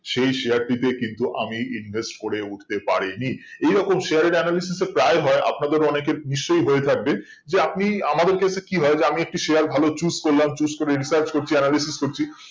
সেই share টি তে কিন্তু আমি invest করে উটতে পারি নি এই রকম share এর প্রায় হয় আপনাদের অনেকে নিশ্চই হয়ে থাকবে যে আপনি আমাদের ক্ষেত্রে কি হয় যে আমি একটি share ভালো choose করলাম choose করে in such করছি analysis করছি